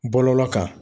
Bɔlɔlɔ kan